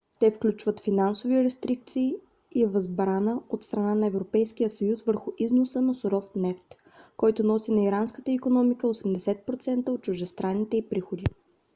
те включват финансови рестрикции и възбрана от страна на европейския съюз върху износа на суров нефт който носи на иранската икономика 80% от чуждестранните ѝ приходи